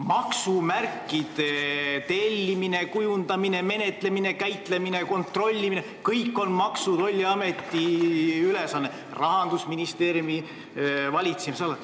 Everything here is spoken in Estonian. Maksumärkide tellimine, kujundamine, menetlemine, käitlemine, kontrollimine – kõik on Maksu- ja Tolliameti ülesanne Rahandusministeeriumi valitsemisalas.